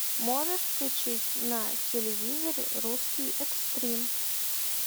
можешь включить на телевизоре русский экстрим